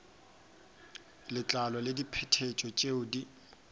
letlalo le diphetetšo tšeo di